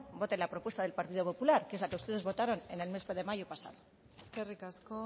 voten la propuesta del partido popular que es la que ustedes votaron en el mes de mayo del año pasado eskerrik asko